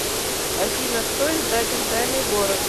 афина кто издатель тайный город